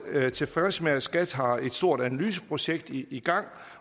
tilfredse med at skat har et stort analyseprojekt i gang